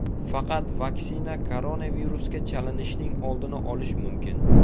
Faqat vaksina koronavirusga chalinishning oldini olish mumkin.